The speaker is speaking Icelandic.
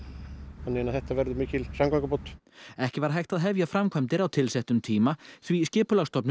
þannig að þetta verður mikil samgöngubót ekki var hægt að hefja framkvæmdir á tilsettum tíma því Skipulagsstofnun